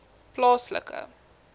plaaslike